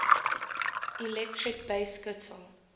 electric bass guitar